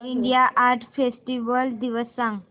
India art festival दिवस सांग